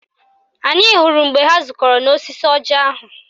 Anyị hụrụ mgbe ha zukọrọ n'osisi ọjị ahụ